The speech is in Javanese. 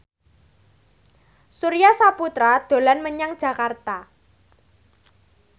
Surya Saputra dolan menyang Jakarta